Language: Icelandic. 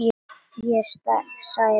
Ég er særð.